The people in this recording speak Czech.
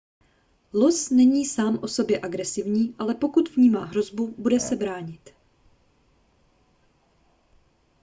los není sám o sobě agresivní ale pokud vnímá hrozbu bude se bránit